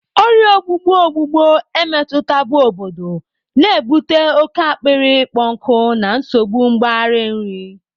Ọrịa ọgbụgbọ ọgbụgbọ emetụtabu obodo, na-ebute oke akpịrị ịkpọ nkụ na nsogbu mgbari nri.